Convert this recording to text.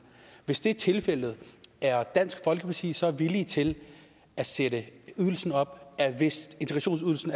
hvis det er tilfældet er dansk folkeparti så villig til at sætte ydelsen op altså hvis integrationsydelsen